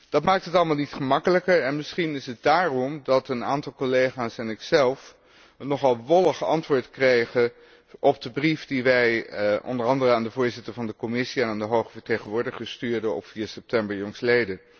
Dat maakt het allemaal niet gemakkelijker en misschien is het daarom dat een aantal collega's en ikzelf een nogal wollig antwoord kregen op de brief die wij onder andere aan de voorzitter van de Commissie en aan de hoge vertegenwoordiger stuurden op 4 september jl..